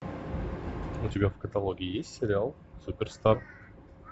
у тебя в каталоге есть сериал суперстар